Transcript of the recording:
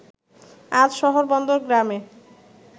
আজ শহর বন্দর গ্রামে